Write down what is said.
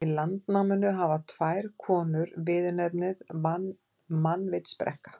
Í Landnámu hafa tvær konur viðurnefnið mannvitsbrekka.